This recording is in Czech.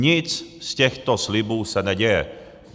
Nic z těchto slibů se neděje.